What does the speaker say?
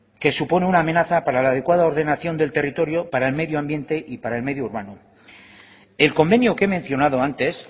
que supone una amenaza para la adecuada ordenación del territorio para el medioambiente y para el medio urbano el convenio que he mencionado antes